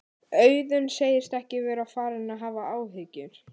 Auðun segist ekki vera farinn að hafa áhyggjur.